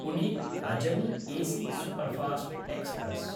Pune Ajni AC superfast express